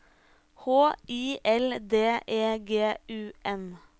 H I L D E G U N